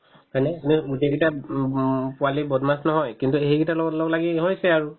এনেকে সেনেকে গোটেই কেইটা উব উব পোৱালি বদমাছ নহয় কিন্তু সেইকেইটাৰ লগ লাগি হৈছে আৰু